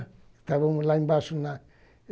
Estávamos lá embaixo, na